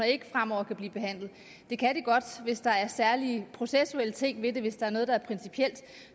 ikke fremover kan blive behandlet det kan de godt hvis der er særlige processuelle ting ved det hvis der er noget der er principielt